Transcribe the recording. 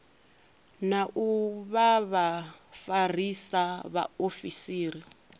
na u vha vhafarisa vhaofisiri